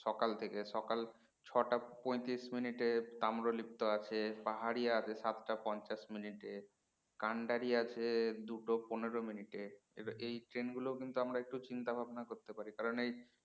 সকাল থেকে সকাল ছটা পঁয়ত্রিশ minute এ তাম্রলিপ্ত আছে পাহাড়ীয়া আছে সাতটা পঞ্চাশ minute কান্ডারী আছে দুটো পনেরো minute এ এই train গুলো কিন্তু আমরা চিন্তা ভাবনা করতে পারি কারণ এই